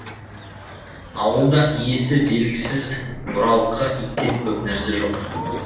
ауылда иесі белгісіз бұралқы иттен көп нәрсе жоқ